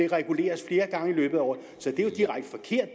reguleres flere gange i løbet af året så det